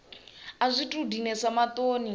a zwi tou dinesa maṱoni